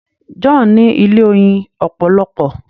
John ní ilé oyin opolopo.